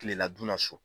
Kilela donna so